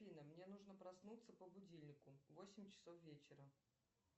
афина мне нужно проснуться по будильнику в восемь часов вечера